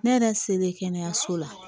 Ne yɛrɛ selen kɛnɛyaso la